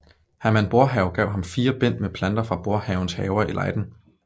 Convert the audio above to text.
Herman Boerhaave gav ham fire bind med planter fra Boerhaaves haver i Leiden